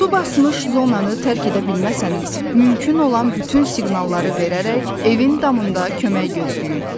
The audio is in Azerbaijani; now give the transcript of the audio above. Su basmış zonanı tərk edə bilməsəniz, mümkün olan bütün siqnalları verərək evin damında kömək gözləyin.